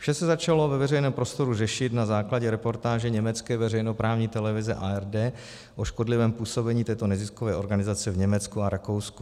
Vše se začalo ve veřejném prostoru řešit na základě reportáže německé veřejnoprávní televize ARD o škodlivém působení této neziskové organizace v Německu a Rakousku.